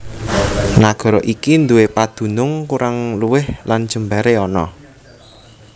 Nagara iki nduwé padunung kurang luwih lan jembaré ana